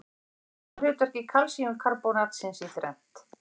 Skipta má hlutverki kalsíumkarbónatsins í þrennt.